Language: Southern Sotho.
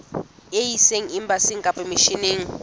e ise embasing kapa misheneng